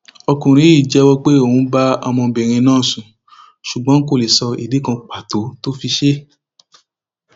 ọkùnrin yìí jẹwọ pé òun bá ọmọbìnrin ọhún sùn ṣùgbọn kó lè sọ ìdí kan pàtó tó fi ṣe é